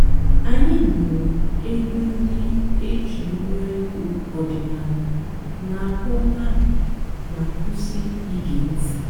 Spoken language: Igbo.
ányị́ nụ́rụ́ ègwú ndị́ é jì ngwá ègwú ọ̀dị́náàlà nà-àkpọ́ n'ámá má kwụ́sị́ íge ǹtị́.